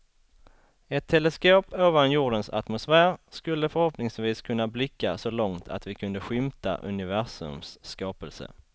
Ett teleskop ovan jordens atmosfär skulle förhoppningsvis kunna blicka så långt att vi kunde skymta universums skapelse.